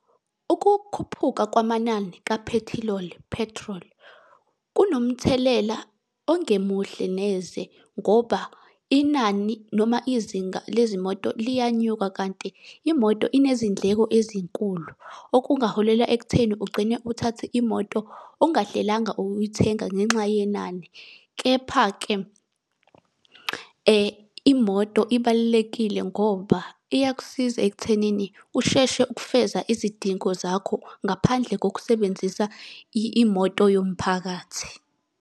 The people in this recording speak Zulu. Ukukhuphuka kwamanani kaphethiloli, petrol, kunomthelela ongemuhle neze ngoba inani noma izinga lezimoto liyanyuka kanti imoto inezindleko ezinkulu. Okungaholela ekutheni ugcine uthathe imoto ungahlelanga ukuyithenga ngenxa yenani. Kepha-ke imoto ibalulekile ngoba iyakusiza ekuthenini usheshe ukufeza izidingo zakho, ngaphandle kokusebenzisa imoto yomphakathi.